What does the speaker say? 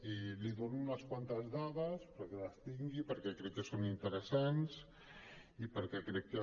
i li dono unes quantes dades perquè les tingui perquè crec que són interessants i perquè crec que